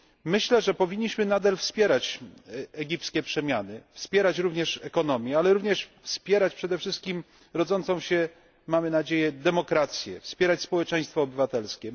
Myślę, że powinniśmy nadal wspierać egipskie przemiany, wspierać również gospodarkę, ale też wspierać przede wszystkim rodzącą się, mamy nadzieję, demokrację, wspierać społeczeństwo obywatelskie.